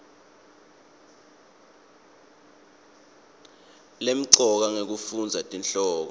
lemcoka ngekufundza tihloko